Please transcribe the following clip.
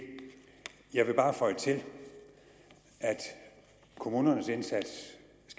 jeg vil bare føje til at kommunernes indsats